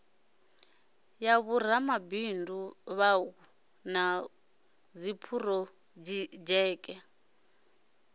ya vhoramabindu vhauku na dziphurodzheke